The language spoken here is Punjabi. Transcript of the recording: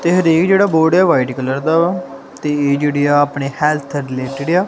ਤੇ ਦੇਖ ਜਿਹੜਾ ਬੋਰਡ ਆ ਵਾਈਟ ਕਲਰ ਦਾ ਵਾ ਤੇ ਜਿਹੜੇ ਆਪਣੇ ਹੈਲਥ ਰਿਲੇਟਿਡ ਆ।